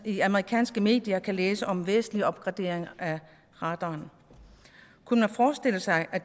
i amerikanske medier kan læse om væsentlige opgraderinger af radaren kunne man forestille sig at